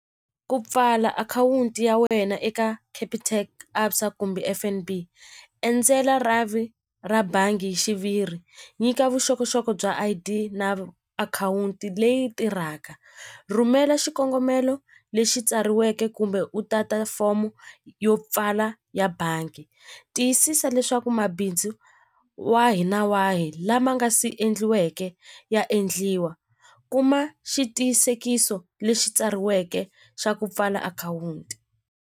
Ku pfala akhawunti ya wena eka Capitec ABSA kumbe F_N_B endzela rhavi ra bangi hi xiviri nyika vuxokoxoko bya I_D na akhawunti leyi tirhaka rhumela xikongomelo lexi tsariweke kumbe u tata fomo yo pfala ya bangi tiyisisa leswaku mabindzu wa hina wahi lama nga si endliweke ya endliwa kuma xitiyisekiso lexi tsariweke xa ku pfala akhawunti.